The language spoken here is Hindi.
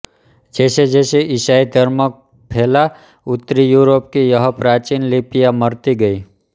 जैसेजैसे ईसाई धर्म फैला उत्तरी यूरोप की यह प्राचीन लिपियाँ मरती गई